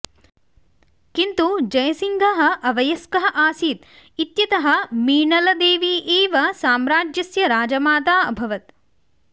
किन्तु जयसिंहः अवयस्कः आसीत् इत्यतः मीनळदेवी एव साम्राज्यस्य राजमाता अभवत्